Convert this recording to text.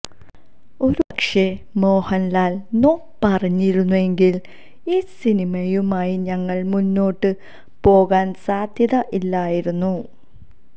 ഒരുപക്ഷേ മോഹന്ലാല് നോ പറഞ്ഞിരുന്നെങ്കില് ഈ സിനിമയുമായി ഞങ്ങള് മുന്നോട്ട് പോകാന് സാധ്യതയില്ലായിരുന്നു